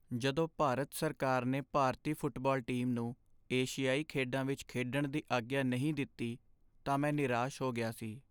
ਜਦੋਂ ਭਾਰਤ ਸਰਕਾਰ ਨੇ ਭਾਰਤੀ ਫੁੱਟਬਾਲ ਟੀਮ ਨੂੰ ਏਸ਼ੀਆਈ ਖੇਡਾਂ ਵਿੱਚ ਖੇਡਣ ਦੀ ਆਗਿਆ ਨਹੀਂ ਦਿੱਤੀ ਤਾਂ ਮੈਂ ਨਿਰਾਸ਼ ਹੋ ਗਿਆ ਸੀ।